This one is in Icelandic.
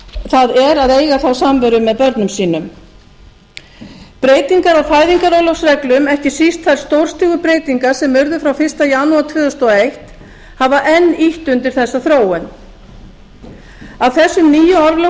það er að eiga þá samveru með börnum sínum breytingar á fæðingarorlofsreglum ekki síst þær stórstígu breytingar sem urðu frá fyrsta janúar tvö þúsund og eitt hafa enn ýtt undir þessa þróun af þessum nýju